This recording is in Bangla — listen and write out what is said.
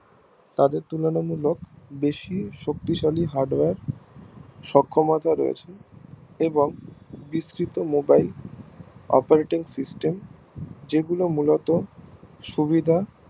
তাদের তুলনামূলক বেশি শক্তিশালী Hardware সক্ষমতায় রয়েছে এবং বিস্তৃত Mobileoperating system যেগুলো মূলত সুবিধা